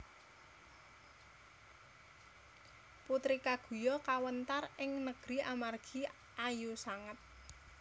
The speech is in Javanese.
Putri Kaguya kawéntar ing negeri amargi ayu sanget